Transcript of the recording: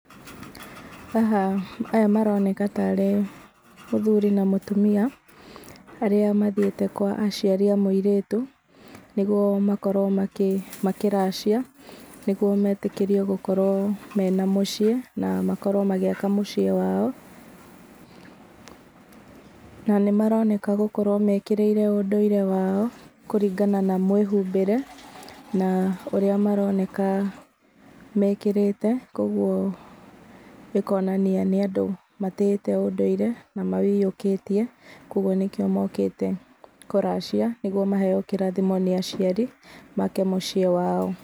Haha aya maroneka tarĩ mũthuri na mũtumia, arĩa mathiĩte kwa aciari a mũirĩtu, nĩguo makorwo makĩracia, nĩguo metĩkĩrio makorwo mena mũciĩ, na makorwo magĩaka mũciĩ wao. Na nĩmaroneka gũkorwo mekĩrĩire ũndũire wao, kũringana na mwĩhũmbĩre, na ũrĩa maroneka mekĩrĩte. Koguo ĩkonania nĩ andũ matĩĩte ũndũire, na maũiyũkĩtie, koguo nĩkĩo mokĩte kũracia, nĩguo maheyo kĩrathimo nĩ aciari, make mũciĩ wao.